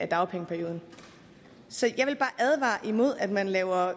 dagpengeperioden så jeg vil bare advare imod at man laver